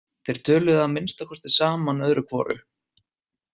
Þeir töluðu að minnsta kosti saman öðru hvoru.